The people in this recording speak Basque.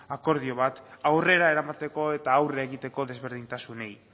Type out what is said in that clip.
akordio bat aurrera eramateko eta aurre egiteko desberdintasunei